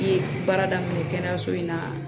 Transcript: I ye baara daminɛ kɛnɛyaso in na